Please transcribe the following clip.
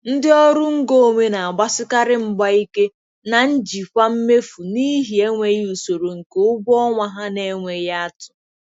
Ndị ọrụ ngo onwe na-agbasikarị mgba ike na njikwa mmefu n'ihi enweghị usoro nke ụgwọ ọnwa ha na-enweghị atụ.